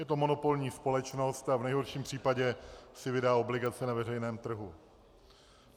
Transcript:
Je to monopolní společnost a v nejhorším případě si vydá obligace na veřejném trhu.